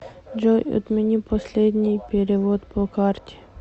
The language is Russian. джой отмени последний перевод по карте